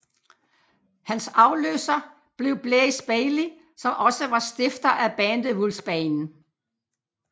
Hans afløser blev Blaze Bayley som også var stifter af bandet Wolfsbane